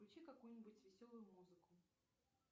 включи какую нибудь веселую музыку